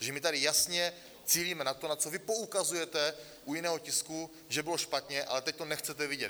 Takže my tady jasně cílíme na to, na co vy poukazujete u jiného tisku, že bylo špatně, ale teď to nechcete vidět.